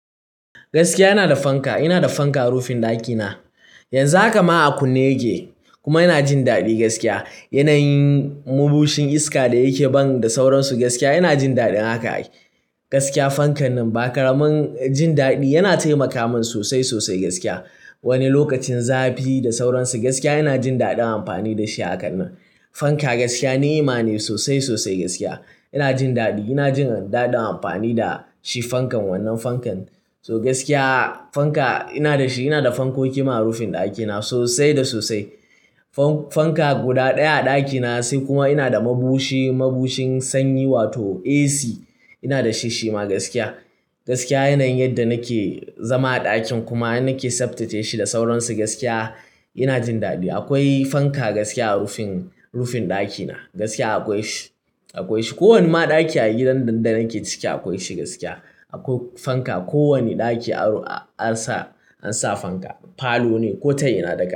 Gaskiya ina da fanka, ina da fanka a rufin ɗakina. Yanzu haka ma a kunne yake kuma ina jin daɗi gaskiya. Yanayin mabushin iska da yake ban da sauransu gaskiya ina jin daɗin haka. Gaskiya fankan nan bakaramin jin daɗi, yana taimaka min sosai, sosai gaskiya. Wani lokacin zafi da sauransu gaskiya ina jin daɗin amfani da shi a kan nan. Fanka gaskiya ni'ma ne sosai, sosai gaskiya. Ina jin daɗi, ina jin daɗin amfani da shi fankan, wannan fankan. To gaskiya fanka ina da shi, ina da fankoki ma a rufin ɗakina sosai da sosai. Fanka guda ɗaya a ɗakina sai kuma ina da mabushi, mabushin sanyi wato AC ina da shi shima gaskiya. Gaskiya yanayin yadda nake zama a ɗakin kuma nake tsaftace shi da sauransu gaskiya ina jin daɗi. Akwai fanka gaskiya a rufin, rufin ɗakina gaskiya akwai shi, akwai shi. Ko wani ma ɗaki a gidan nan da nake ciki akwai shi gaskiya. Akwai fanka ko wani ɗaki an sa, an sa fanka. Falo ne ko ta ina da.